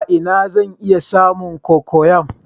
A ina zan iya samun cocoyam?